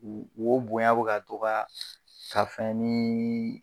U o bonya bɛ ka to ka ka fɛn nii